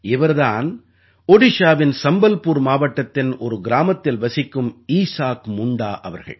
இவர் தான் ஓடிஷாவின் சம்பல்புர் மாவட்டத்தின் ஒரு கிராமத்தில் வசிக்கும் ஈசாக் முண்டா அவர்கள்